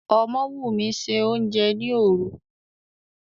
Ọmọ́wùmí se oúnjẹ ni òru.